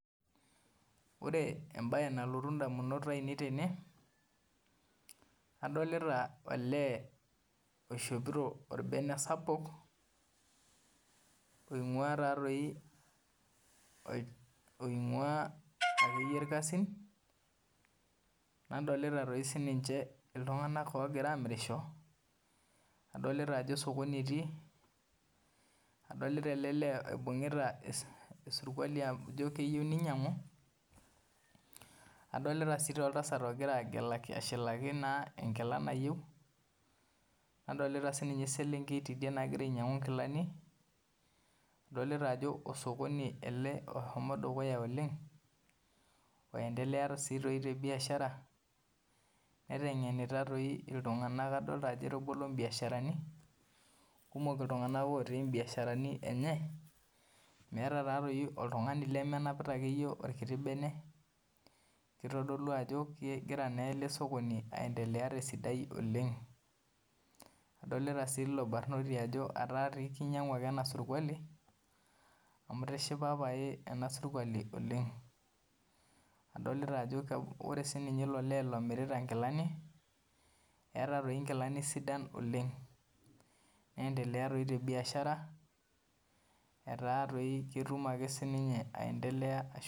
Ore embaye nalotu indamunot aainei tene adolita olee oishopito orbene sapuk ooing'ua irkasin nedaolita iltung'anak otii osokoni nadolita olee oshikita enkila nayieu ninyiang'u nadolita olee ogira ashilaki enkila nayieu nadolita siininye eslenkei nagira ainyiang'u inkilani adoli ajo osokoni aendelea ele oleng kumok otii imbiasharani enye meeta oltung'ani lemenapita orkiti bene adolita sii ilo badrnoti ajo etaa keinyiang'u ake ena surkuali amu eistishipa ena sukuali oleng odolita ajo eeta ele lee inkilani sidain oleng neendelea doi te biashara oleng etaa doi ketum ake aendelea